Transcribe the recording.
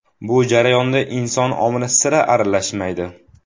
Bu jarayonda inson omili sira aralashmaydi.